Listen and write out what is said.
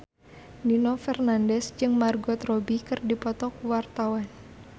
Nino Fernandez jeung Margot Robbie keur dipoto ku wartawan